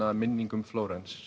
minning um Flórens